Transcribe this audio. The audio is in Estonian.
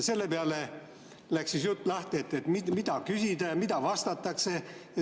Selle peale läks lahti jutt, mida küsitakse ja mida vastatakse.